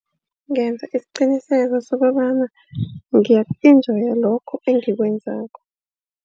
Ngenza isiqiniseko sokobana ngiyaku-enjoya lokhu engikwenzako.